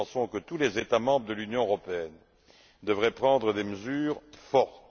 Nous pensons que tous les États membres de l'Union européenne devraient prendre des mesures fortes.